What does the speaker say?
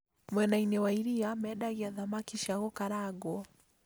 Mwenainĩ wa iria mendagia thamaki cia gũkarangwo